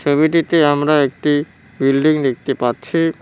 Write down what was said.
ছবিটিতে আমরা একটি বিল্ডিং দেখতে পাচ্ছি।